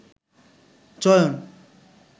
চয়ন